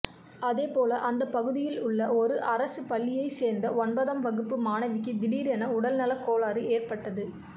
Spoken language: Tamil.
அதே போல அந்த பகுதியில் உள்ள ஒரு அரசு பள்ளியை சேர்ந்த ஒன்பதாம் வகுப்பு மாணவிக்கு திடீரென உடல்நலக்கோளாறு ஏற்பட்டது